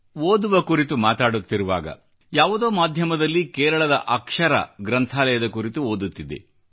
ಓದುವ ಕುರಿತು ಮಾತಾಡುತ್ತಿರುವಾಗ ಯಾವುದೋ ಮಾಧ್ಯಮದಲ್ಲಿ ಕೇರಳದ ಅಕ್ಷರಾ ಗ್ರಂಥಾಲಯದ ಕುರಿತು ಓದುತ್ತಿದ್ದೆ